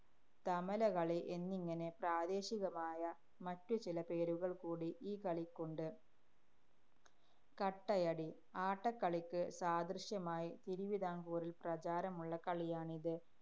തമലകളി എന്നിങ്ങനെ പ്രാദേശികമായ മറ്റു ചില പേരുകള്‍ കൂടി ഈ കളിക്കുണ്ട്. കട്ടയടി. ആട്ടക്കളിക്ക് സദൃശമായി തിരുവിതാംകൂറില്‍ പ്രചാരമുള്ള കളിയാണിത്.